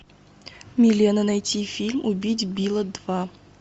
милена найти фильм убить билла два